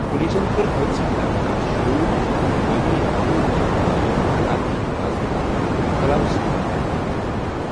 پلیٖسن کٔر حٲدِثٕچ تحقیٖقات شُروٗع تہٕ چھکھ اِنتِقٲمی حملہٕ رُکاونہٕ باپتھ علاقہٕ كہِ حِفاظتہٕ خٲطرٕ علاوٕ سِپاہ تعینات کٔرۍمٕتۍ ۔